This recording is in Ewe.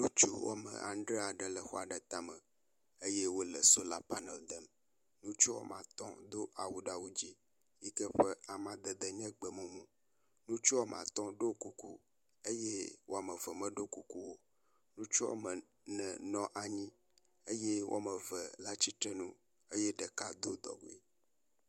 Ŋuatu wome adre aɖe le xɔ aɖe tame eye wole sola panel dem, ŋutsua wome atɔ̃ wodo awu ɖe awu dzi yi ke ƒe amadede nye gbemumu, ŋutsua wome atɔ̃ woɖo kuku eye womeve meɖo kuku o, ŋutsua womene nɔ anyi eye womeve nɔ atsitrenu eye ɖeka do dɔgoe